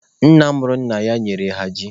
Nna mụrụ nna ha nyere ha ji.